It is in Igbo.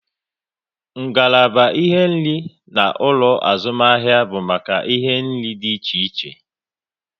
Ngalaba ihe nri na ulo azumahia bu make ihe nri di iche iche